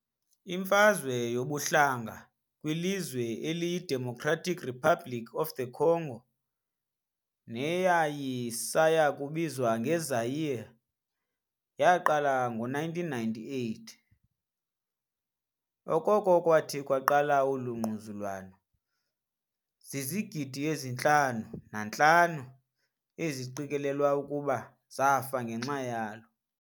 Imfazwe yobukhaya kwilizwe eliyi-Democratic Republic of the Congo, neyayisayakubizwa nge-Zaire, yaaqala ngo-1998. Okoko kwathi kwaqala olu ngquzulwano, zizigidi ezi-5,5 eziqikelelwa okokuba zafa ngenxa yalo.